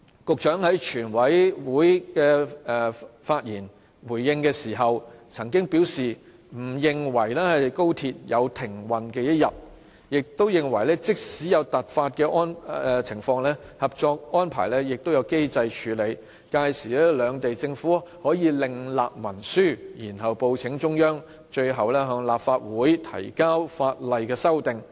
局長在全委會發言回應時，曾經表示不認為高鐵有停運的一天，亦認為即使有突發情況，《合作安排》亦有機制處理，屆時兩地政府可另立文書，然後報請中央，最後向立法會提交法例修訂案。